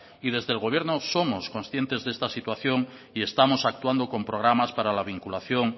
desde el gobierno somos conscientes de esta situación y estamos actuando con programas para la vinculación